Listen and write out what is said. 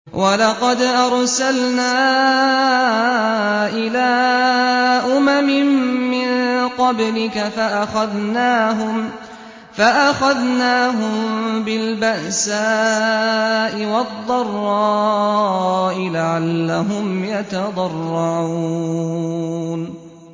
وَلَقَدْ أَرْسَلْنَا إِلَىٰ أُمَمٍ مِّن قَبْلِكَ فَأَخَذْنَاهُم بِالْبَأْسَاءِ وَالضَّرَّاءِ لَعَلَّهُمْ يَتَضَرَّعُونَ